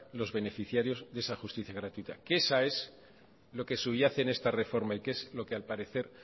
los beneficiarios de esa justicia gratuita que esa es lo que subyace en esta reforma y que es lo que al parecer